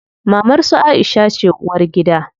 Mamar su Aisha ce uwargida.